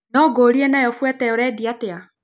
Na ngũrie nayo Fuerte ũrendia atia?